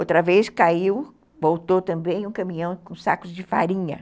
Outra vez caiu, voltou também um caminhão com sacos de farinha.